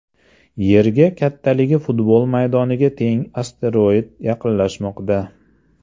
Yerga kattaligi futbol maydoniga teng asteroid yaqinlashmoqda.